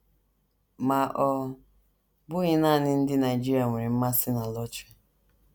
Ma ọ bụghị nanị ndị Nigeria nwere mmasị na lọtrị.